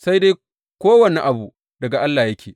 Sai dai kowane abu daga Allah yake.